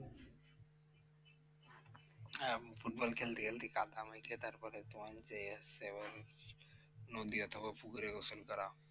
হ্যাঁ ফুটবল খেলতে খেলতেই কাদা মেখে তারপরে তোমার যে নদী অথবা পুকুরে গোসল করা।